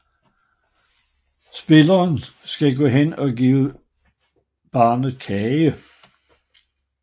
Spilleren skal gå hen og give barnet kage